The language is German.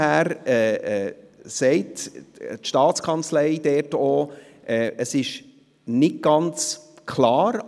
Daher sagt die Staatskanzlei auch, es sei nicht ganz klar.